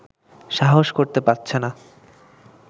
সাহস করতে পারছে না